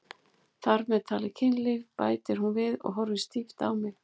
Þar með talið kynlíf, bætir hún við og horfir stíft á mig.